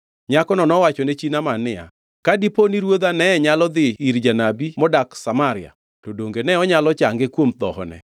Nyakono nowachone chi Naaman niya, “Ka dipo ni ruodha ne nyalo dhi ir janabi modak Samaria, to donge ne onyalo change kuom dhohone.”